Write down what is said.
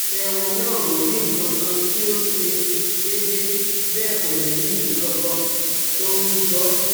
Àyẹ̀wò náà ò rí nǹkankan tí ò ṣe déédé bẹ́ẹ̀ kò rí nǹkankan tó ń jò